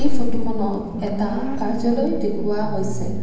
ফটোখনত এটা কাৰ্যালয় দেখুওৱা হৈছে।